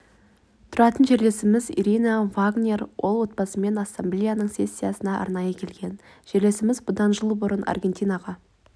тұратын жерлесіміз ирина вагнер ол отбасымен ассамблеяның сессиясына арнайы келген жерлесіміз бұдан жыл бұрын аргентинаға